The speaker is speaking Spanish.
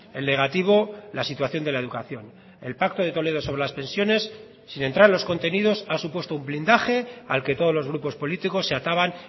el negativo la situación de la educación el pacto de toledo sobre las pensiones sin entrar en los contenidos ha supuesto un blindaje al que todos los grupos políticos se ataban